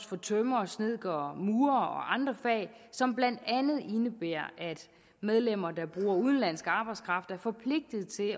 for tømrer snedker og murerfagene og andre fag som blandt andet indebærer at medlemmer der bruger udenlandsk arbejdskraft er forpligtet til